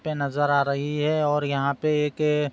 पे नजर आ रही है और यहाँ पे एक --